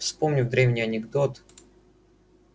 вспомнив древний анекдот